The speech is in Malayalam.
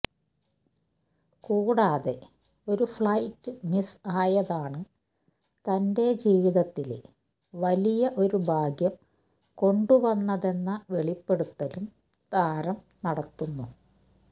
കൂടാതെ ഒരു ഫ്ലൈറ്റ് മിസ് ആയതാണ് തന്റെ ജീവിതത്തില് വലിയ ഒരു ഭാഗ്യം കൊണ്ടുവന്നതെന്ന വെളിപ്പെടുത്തലും താരം നടത്തുന്നു